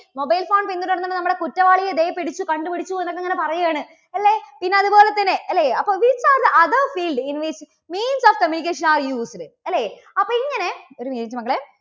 mobile phone പിന്തുടർന്ന് നമ്മുടെ കുറ്റവാളിയെ ദേ പിടിച്ചു, കണ്ടുപിടിച്ചു എന്നൊക്കെ ഇങ്ങനെ പറയുകയാണ്. അല്ലേ? പിന്നെ അതുപോലെതന്നെ അല്ലേ അപ്പോ which are the other field in which means of communication are used അല്ലേ? അപ്പോ ഇങ്ങനെ, ഒരു minute മക്കളെ